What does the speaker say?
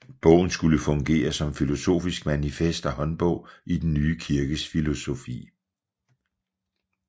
Bogen skulle fungere som filosofisk manifest og håndbog i den nye kirkes filosofi